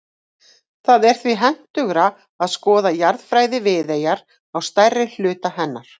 Það er því hentugra að skoða jarðfræði Viðeyjar á stærri hluta hennar.